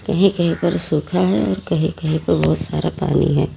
कहीं कहीं पर सुखा है और कहीं कहीं पर बहुत सारा पानी है।